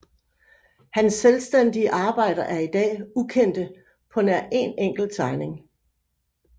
Hans selvstændige arbejder er i dag ukendte på nær en enkelt tegning